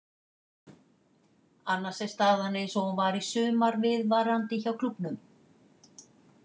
Annars er staðan eins og hún var í sumar viðvarandi hjá klúbbnum.